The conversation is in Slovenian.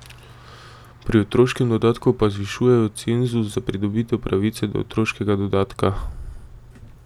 Pri otroškem dodatku pa zvišujejo cenzus za pridobitev pravice do otroškega dodatka.